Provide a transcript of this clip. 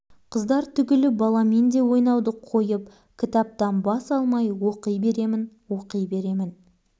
қыздар түгілі баламен де ойнауды қойып кітаптан бас алмай оқи беремін оқи беремін